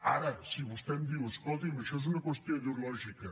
ara si vostè em diu escolti’m això és una qüestió ideològica